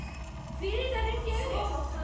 Hví er þetta rifjað upp?